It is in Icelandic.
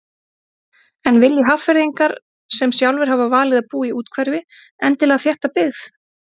En vilji Hafnfirðingar sem sjálfir hafa valið að búa í úthverfi endilega þétta byggð?